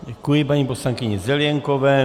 Děkuji paní poslankyni Zelienkové.